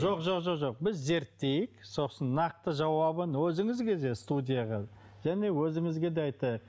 жоқ жоқ жоқ біз зерттейік сосын нақты жауабын өзіңізге де студияға және өзіңізге де айтайық